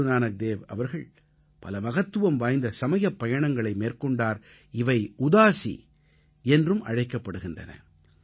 குருநானக்தேவ் அவர்கள் பல மகத்துவம் வாய்ந்த சமயப் பயணங்களை மேற்கொண்டார் இவை உதாஸீ என்று அழைக்கப்படுகின்றன